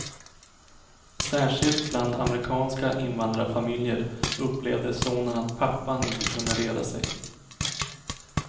Särskilt bland amerikanska invandrarfamiljer upplevde sonen att pappan inte kunde reda sig.